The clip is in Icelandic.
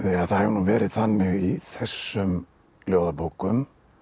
það hefur nú verið þannig í þessum ljóðabókum